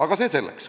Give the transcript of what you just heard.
Aga see selleks.